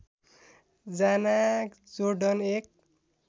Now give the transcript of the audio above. जाना जोर्डन एक